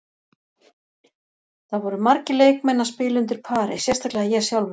Það voru margir leikmenn að spila undir pari, sérstaklega ég sjálfur.